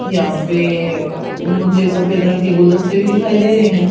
यहां पे मुझे सफेद रंग के गुलदस्ते भी दिखाई दे रहे हैं।